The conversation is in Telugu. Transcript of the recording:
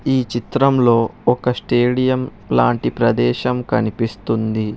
ఈ చిత్రం లో ఒక స్టేడియం లాంటి ప్రదేశం కనిపిస్తుంది.